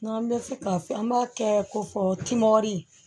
N'an bɛ fɛ k'a fɔ an b'a kɛ kofɔ timɔri